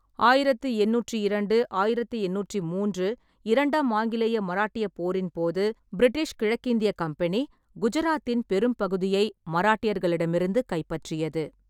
ஆயிரத்தி எண்ணூற்றி இரண்டு-ஆயிரத்தி எண்ணூற்றி மூன்று இரண்டாம் ஆங்கிலேய மராட்டிய போரின் போது, பிரிட்டிஷ் கிழக்கிந்திய கம்பெனி குஜராத்தின் பெரும்பகுதியை மராட்டியர்களிடமிருந்து கைப்பற்றியது.